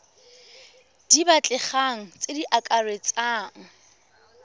di batlegang tse di akaretsang